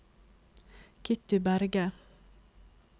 Kitty Berge